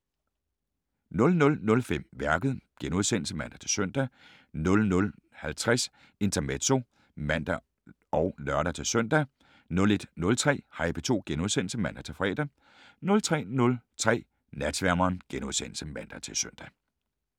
00:05: Værket *(man-søn) 00:50: Intermezzo (man og lør-søn) 01:03: Hej P2 *(man-fre) 03:03: Natsværmeren *(man-søn)